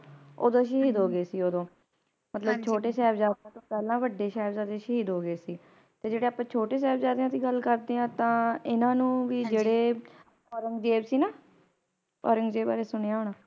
ਓਦੋ ਸ਼ਹੀਦ ਹੋ ਗਏ ਸੀ ਓਦੋ ਮਤਲਬ ਛੋਟੇ ਸਾਹਿਬਜ਼ਾਦੇ ਤੋਹ ਪਹਿਲਾਂ ਵੱਡੇ ਸਹਿਬਜ਼ਾਦੇ ਸ਼ਹੀਦ ਹੋ ਗਏ ਸੀਂ ਤੇ ਜਿਹੜੇ ਅੱਪਾ ਛੋਟੇ ਸਾਹਿਬਜ਼ਾਦਿਆਂ ਦੀ ਗੱਲ ਕਰਦੇ ਆਂ ਤਾ ਇਹਨਾਂ ਨੂੰ ਵੀ ਜਿਹੜੇ ਔਰੰਗਜ਼ੇਬ ਸੀ ਨਾ ਔਰੰਗਜ਼ੇਬ ਬਾਰੇ ਸੁਣਿਆ ਹੋਣਾ